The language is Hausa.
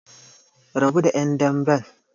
Rabu da ƴan damben!